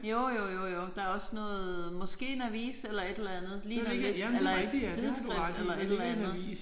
Jo jo jo jo. Der er også noget måske en avis eller et eller andet ligner lidt eller et tidsskrift eller et eller andet